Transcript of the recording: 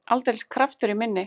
Aldeilis kraftur í minni!